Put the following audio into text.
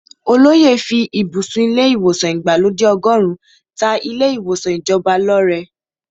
Olóyè fí ibùsùn ilé ìwòsàn ìgbàlódé ọgọ́run ta ilé ìwòsàn ìjọba lọ́rẹ.